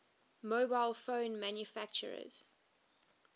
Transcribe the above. mobile phone manufacturers